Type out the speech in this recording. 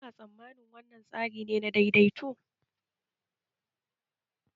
Kuna tsammanin wannan tsari ne na daidaito?